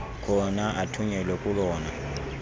khona athunyelwe kolona